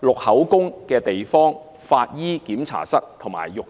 錄取口供的地方、法醫檢查室和浴室。